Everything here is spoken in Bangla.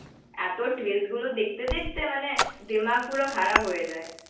এত টুইস্ট গুলো দেখতে দেখতে মানে দেমাক পুরো খারাপ হয়ে